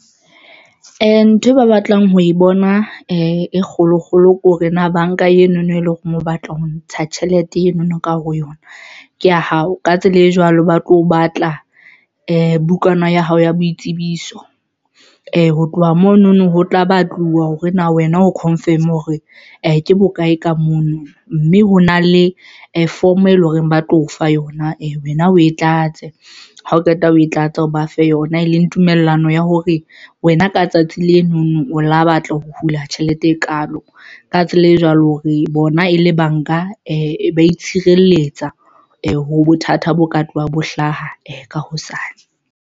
Ntho e ba batlang ho e bona e kgolo kgolo ke hore na banka eno no e leng hore o batla ho ntsha tjhelete eno no ka hare ho yona ke ya hao. Ka tsela e jwalo, ba tlo batla bukana ya hao ya boitsebiso. Ho tloha mono no, ho tla batluwa hore na wena o confirm hore ke bokae ka mono mme ho na le form eleng hore ba tlo o fa yona wena o e tlatse. Ha o qeta o e tlatse, o ba fe yona e leng tumellano eo ya hore wena ka tsatsi leno no o lo batla ho hula tjhelete e kalo. Ka tsela e jwalo, re bona e le banka e ba itshireletsa ho bothata bo ka tloha bo hlaha ka hosane.